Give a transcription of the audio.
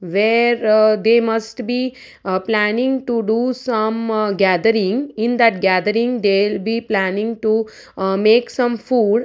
where aa they must be aa planning to do some gathering in that gathering they will be planning to aa make some food.